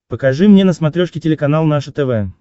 покажи мне на смотрешке телеканал наше тв